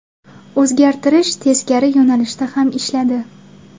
O‘zgartirish teskari yo‘nalishda ham ishladi.